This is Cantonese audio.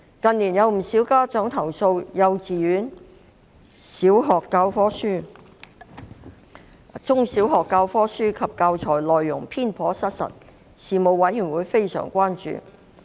近年不少家長投訴幼稚園和中小學的教科書及教材內容偏頗失實，事務委員會對此非常關注。